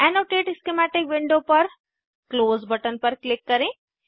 annotate schematic window पर close button पर click करें